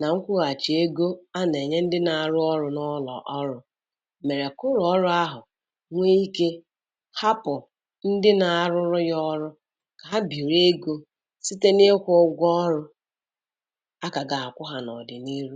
na nkwụghachi ego a na-enye ndị na-arụ ọrụ n'ụlọ ọrụ mere ka ụlọ ọrụ ahụ nwee ike ghapụ ndị na-arụrụ ya ọrụ ka ha biri ego site n'ụgwọ ọrụ a ka ga-akwụ ha n'ọdịnihu.